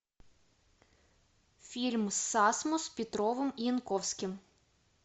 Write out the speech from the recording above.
фильм с асмус петровым и янковским